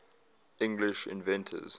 english inventors